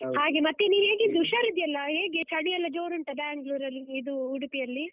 ಮತ್ತೆ ನೀನು ಹೇಗಿದ್ದೀ, ಹುಷಾರಿದ್ದೀಯಲ್ಲಾ? ಹೇಗೆ ಚಳಿ ಎಲ್ಲ ಜೋರುಂಟ Bangalore ರಲ್ಲಿ ಇದು ಉಡುಪಿಯಲ್ಲಿ?